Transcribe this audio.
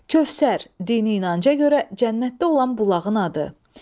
Kövsər, dini inanca görə cənnətdə olan bulağın adı.